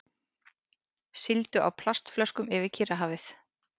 Sigldu á plastflöskum yfir Kyrrahafið